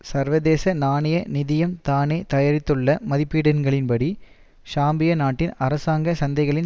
சர்வதேச நாணய நிதியம் தானே தயாரித்துள்ள மதிப்பீடுகளின்படி ஷாம்பியா நாட்டில் அரசாங்க சந்தைகளில்